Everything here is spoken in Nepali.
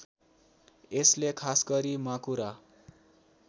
यसले खासगरी माकुरा